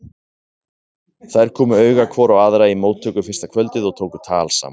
Þær komu auga hvor á aðra í móttöku fyrsta kvöldið og tóku tal saman.